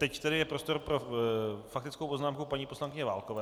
Teď tedy je prostor pro faktickou poznámku paní poslankyně Válkové.